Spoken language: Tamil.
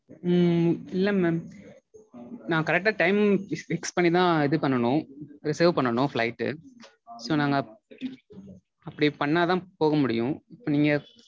உம் இல்ல mam. நா correct ஆ time fix பண்ணிதா இது பண்ணனும் reserve பண்ணனும் flight. So நாங்க அப்படி பண்ணாதா போக முடியும். நீங்க